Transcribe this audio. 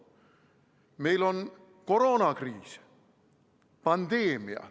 Meil on koroonakriis, pandeemia.